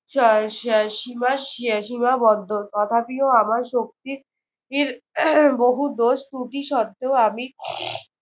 স স সীমা সে সীমাবদ্ধ। তথাপিও আমার শক্তির বহু দোষত্রুটি সত্ত্বেও আমি